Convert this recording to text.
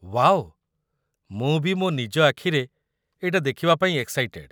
Wow! ମୁଁ ବି ମୋ ନିଜ ଆଖିରେ ଏଇଟା ଦେଖିବାପାଇଁ ଏକ୍‌ସାଇଟେଡ୍‌ ।